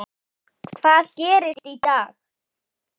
Hvað gerist í dag?